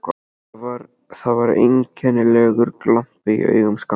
Það var einkennilegur glampi í augum Skapta.